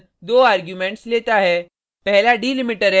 join function 2 arguments लेता है